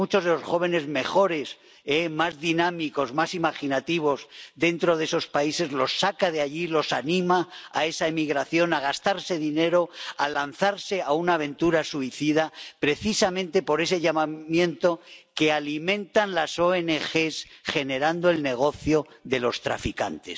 a muchos de los jóvenes mejores, más dinámicos, más imaginativos dentro de esos países, los saca de allí, los anima a esa emigración —a gastarse dinero, a lanzarse a una aventura suicida—, precisamente por ese llamamiento que alimentan las ONG, generando el negocio de los traficantes.